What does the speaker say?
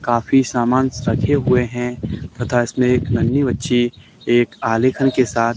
काफी सामानस रखे हुए हैं तथा इसमें एक नन्ही बच्ची एक आलेखन के साथ--